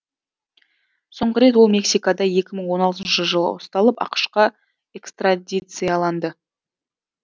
соңғы рет ол мексикада екі мың он алтыншы жылы ұсталып ақш қа экстрадицияланды